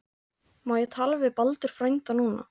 Má ég tala við Baldur frænda núna?